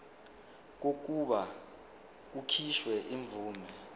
kokuba kukhishwe imvume